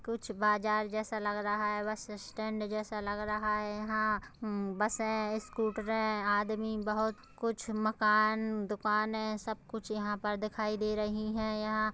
कुछ बाजार जैसा लग रहा है बस स्टेंड जैसा लग रहा है यहां बसे स्कुटरे आदमी बोहत कुछ मकान दुकाने सब कुछ यहां पर दिखाई दे रही है यहाँ--